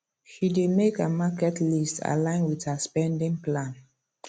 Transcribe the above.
she dey make her market list align with her spending plan